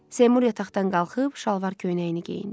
Seymur yataqdan qalxıb şalvar-köynəyini geyindi.